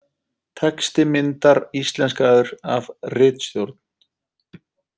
Texti myndar íslenskaður af ritstjórn.